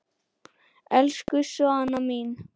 Elsku Svana mín.